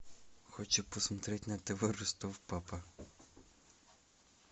хочу посмотреть на тв ростов папа